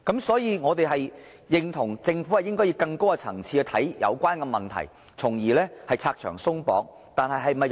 所以，我們認同政府應該以更高層次來看待有關問題，從而拆牆鬆綁。